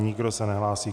Nikdo se nehlásí.